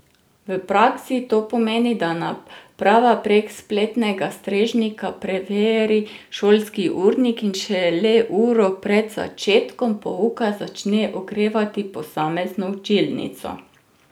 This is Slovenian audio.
V praksi to pomeni, da naprava prek spletnega strežnika preveri šolski urnik in šele uro pred začetkom pouka začne ogrevati posamezno učilnico.